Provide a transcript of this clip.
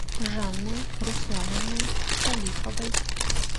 жанной руслановной салиховой